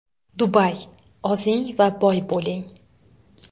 Dubay: Ozing va boy bo‘ling!.